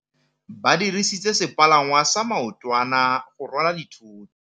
Ba dirisitse sepalangwasa maotwana go rwala dithôtô.